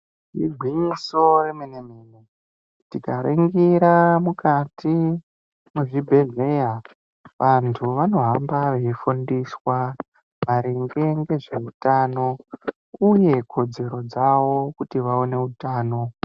Igwinyiso remene mene tikaringira mukati mwezvibhedhleya vantu vanohamba veifundiswa maringe nezveutano uye kodzero dzavo kuti vaone utano.